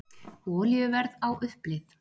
Olíuverð á uppleið